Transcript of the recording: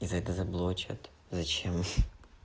и за это заблокируют зачем